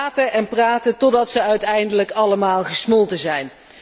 En ze praten en praten totdat ze uiteindelijk allemaal gesmolten zijn.